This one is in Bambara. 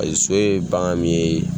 Paseke so ye bagan min ye